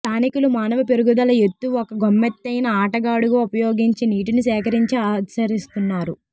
స్థానికులు మానవ పెరుగుదల ఎత్తు ఒక గమ్మత్తైన ఆటగాడుగా ఉపయోగించి నీటిని సేకరించి ఆచరిస్తున్నారు